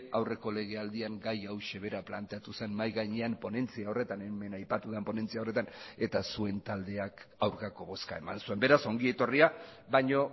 aurreko legealdian gai hauxe bera planteatu zen mahai gainean ponentzia horretan hemen aipatu den ponentzia horretan eta zuen taldeak aurkako bozka eman zuen beraz ongi etorria baino